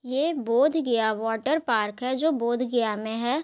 ये बोधगया वॉटरपार्क है जो बोधगया में है ।